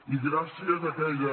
i gràcies a aquella